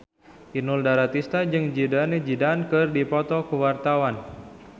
Inul Daratista jeung Zidane Zidane keur dipoto ku wartawan